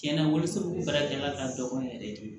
Tiɲɛna wolo sɛbɛla ka dɔgɔn yɛrɛ de